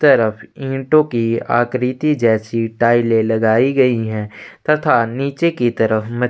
तरफ ईटों की आकृति जैसी टॉइले लगाई गई है तथा नीचे की तरफ मच --